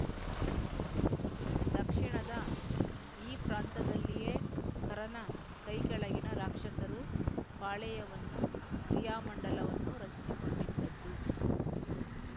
ದಕ್ಷಿಣದ ಈ ಪ್ರಾಂತದಲ್ಲಿಯೇ ಖರನ ಕೈಕೆಳಗಿನ ರಾಕ್ಷಸರು ಪಾಳೆಯವನ್ನೂ ಕ್ರಿಯಾಮಂಡಲವನ್ನೂ ರಚಿಸಿಕೊಂಡಿದ್ದದ್ದು